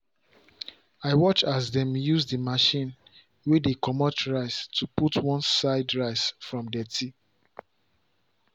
i watch as dem use the machine way dey commot rice to put one side rice from dirty.